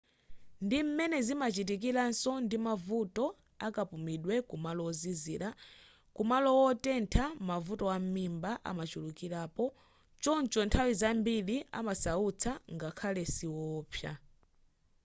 ndi m'mene zimachitikiraso ndi mavuto akapumidwe kumalo wozizira kumalo wotentha mavuto am'mimba amachulukirapo choncho nthawi zambiri amasautsa ngakhale siwowopsa